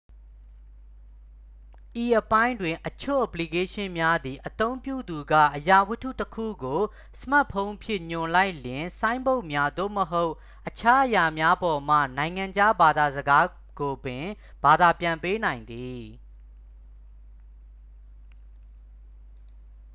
ဤအပိုင်းတွင် အချို့ အပလီကေးရှင်းများသည် အသုံးပြုသူက အရာဝတ္ထုတစ်ခုကို စမတ်ဖုန်းဖြင့် ညွှန်လိုက်လျှင် ဆိုင်းဘုတ်များ သို့မဟုတ် အခြားအရာများပေါ်မှ နိုင်ငံခြားဘာသာစကားကိုပင် ဘာသာပြန်ပေးနိုင်သည်